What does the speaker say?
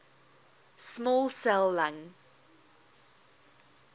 small cell lung